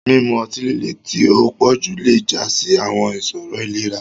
Mimu ọti-lile ti o pọju le ja si awọn iṣoro ilera.